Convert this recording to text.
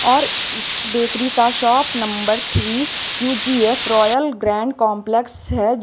और बेकरी का shop number three U G F royal grand complex है।